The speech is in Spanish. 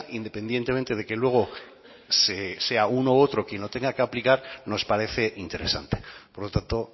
independientemente de que luego sea uno u otro quien lo tenga que aplicar nos parece interesante por lo tanto